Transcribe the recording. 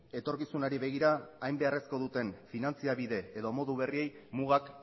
etorkizunari begira hain beharrezko duten finantza bide edo modu berriei mugak